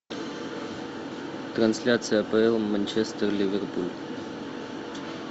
трансляция апл манчестер ливерпуль